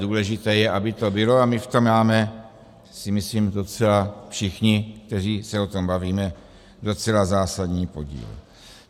Důležité je, aby to bylo, a my v tom máme, si myslím, docela všichni, kteří se o tom bavíme, docela zásadní podíl.